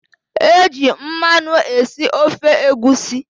Eji mmanụ esi ofe egusi.